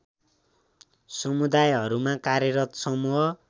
समुदायहरूमा कार्यरत समूह